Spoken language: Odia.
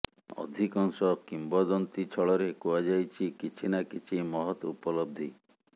ଅଧିକଂଶ କିମ୍ବଦନ୍ତୀ ଛଳରେ କୁହାଯାଇଛି କିଛି ନା କିଛି ମହତ ଉପଲବଧି